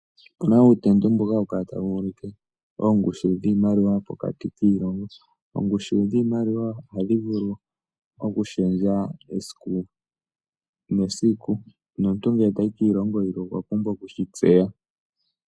Opuna uutendo mboka hawu kala kala tawu ulike oongushu dhiimaliwa pokatikiilongoniilongo. Oongushu dhiimaliwa ohadhi vulu oku shendja esiku nesiku nomuntu ngele tayi kiilongo yilwe okwa pumbwa oku shi tseya.